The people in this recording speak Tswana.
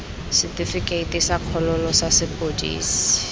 setifikeite sa kgololo sa sepodisi